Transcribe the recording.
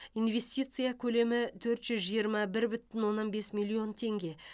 инвестиция көлемі төрт жүз жиырма бір бүтін оннан бес миллион теңге